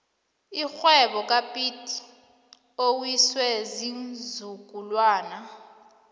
irhwebo kapiet iwiswe ziinzukulwana